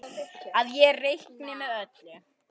Að ég reikni með öllu.